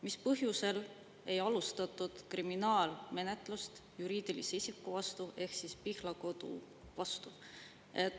Mis põhjusel ei alustatud kriminaalmenetlust juriidilise isiku ehk siis Pihlakodu vastu?